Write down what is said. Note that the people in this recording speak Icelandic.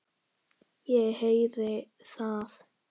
Ég heyri það.